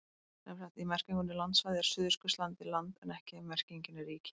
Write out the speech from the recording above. Sem sagt, í merkingunni landsvæði er Suðurskautslandið land en ekki ef merkingin er ríki.